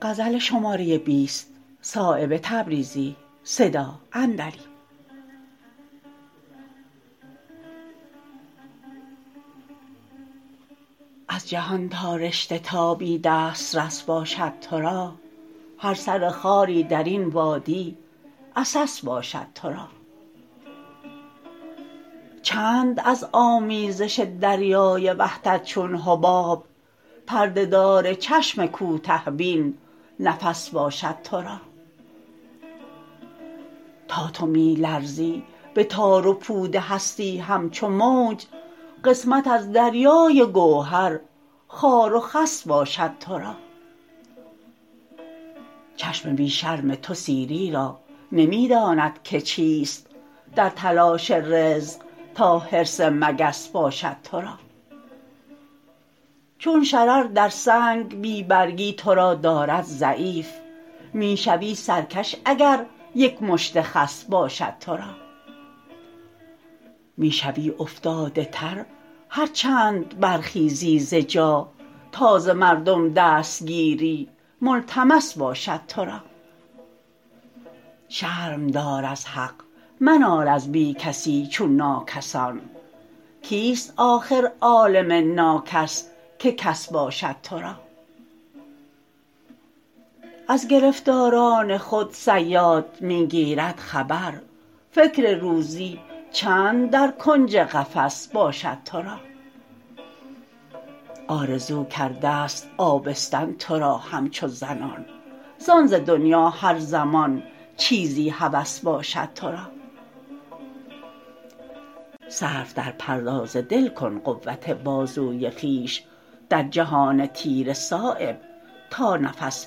از جهان تا رشته تابی دسترس باشد ترا هر سر خاری درین وادی عسس باشد ترا چند از آمیزش دریای وحدت چون حباب پرده دار چشم کوته بین نفس باشد ترا تا تو می لرزی به تار و پود هستی همچو موج قسمت از دریای گوهر خار و خس باشد ترا چشم بی شرم تو سیری را نمی داند که چیست در تلاش رزق تا حرص مگس باشد ترا چون شرر در سنگ بی برگی ترا دارد ضعیف می شوی سرکش اگر یک مشت خس باشد ترا می شوی افتاده تر هر چند برخیزی ز جا تا ز مردم دستگیری ملتمس باشد ترا شرم دار از حق منال از بی کسی چون ناکسان کیست آخر عالم ناکس که کس باشد ترا از گرفتاران خود صیاد می گیرد خبر فکر روزی چند در کنج قفس باشد ترا آرزو کرده است آبستن ترا همچو زنان زان ز دنیا هر زمان چیزی هوس باشد ترا صرف در پرداز دل کن قوت بازوی خویش در جهان تیره صایب تا نفس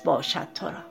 باشد ترا